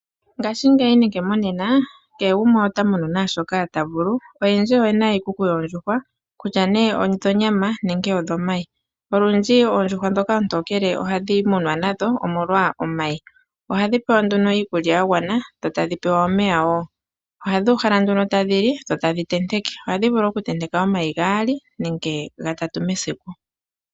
Ngashingeyi nenge monena kehe gumwe ota munu naashoka ta vulu. Oyendji oyena iikuku yoondjuhwa kutya nee odhonyama nenge odhomayi . Olundji oondjuhwa ndhoka oontokele ohadhi munwa nadho omolwa omayi. Ohadhi pewa nduno iikulya ya gwana dho tadhi pewa omeya wo. Ohadhi uhala nduno tadhi li dho tadhi tenteke. Ohadhi vulu okutenteka omayi gaali nenge gatatu mesiku.